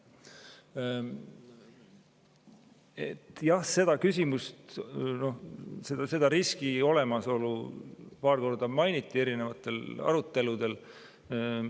Jah, seda küsimust, selle riski olemasolu paar korda mainiti erinevatel aruteludel.